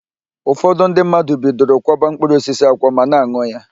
Ụfọdụ ndị mmadụ bidoro kwọba mkpụrụosisi akwọ ma na-an̄ụ ya.